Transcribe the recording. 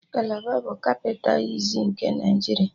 Kalaba bụ kapịta iziz nke Naịjiria